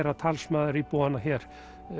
hann talsmaður íbúanna hér